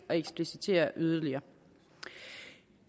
at eksplicitere det yderligere